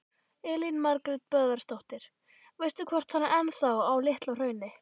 Elín Margrét Böðvarsdóttir: Veistu hvort hann er ennþá á Litla-Hrauni?